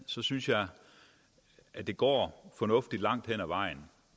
så synes jeg at det går fornuftigt langt hen ad vejen